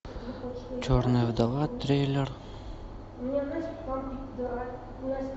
черная вдова триллер